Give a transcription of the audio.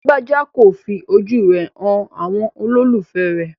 Lágbájà kò fi ojú rẹ̀ han àwọn olólùfẹ̀ẹ́ rẹ̀.